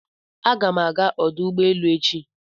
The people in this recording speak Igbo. Aga m aga ọdụ ụgbọelu echi.